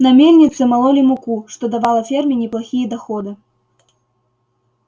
на мельнице мололи муку что давало ферме неплохие доходы